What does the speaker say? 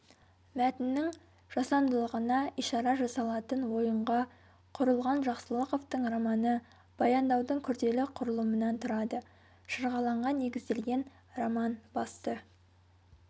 мәтіннің жасандылығына ишара жасалатын ойынға құрылған жақсылықовтың романы баяндаудың күрделі құрылымынан тұрады шырғалаңға негізделген роман басты